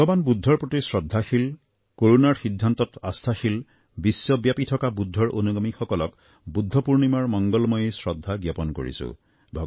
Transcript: ভগবান বুদ্ধৰ প্ৰতি শ্ৰদ্ধাশীল কৰুণাৰ সিদ্ধান্তত আস্থাশীল বিশ্বব্যাপী থকা বুদ্ধৰ অনুগামীসকলক বুদ্ধ পূৰ্ণিমাৰ মংগলময়ী শ্ৰদ্ধা জ্ঞাপন কৰিছোঁ